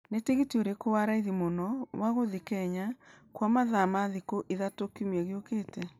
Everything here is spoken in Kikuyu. ni tĩgitĩ urĩkũ wa raithĩ mũno wa gũthiĩ Kenya kwa mathaa rĩa thikũ ithatũ kĩumia gĩũkite